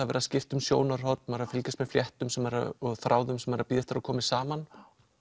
verið að skipta um sjónarhorn maður er að fylgjast með fléttum og þráðum sem maður er að bíða eftir að komi saman